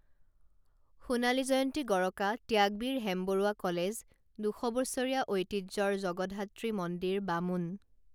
সোণালী জয়ন্তী গৰকা ত্যাগবীৰ হেমবৰুৱা কলেজ দুশবছৰীয়া ঐতিহ্যৰ জগদ্ধাত্ৰী মন্দিৰ বামুন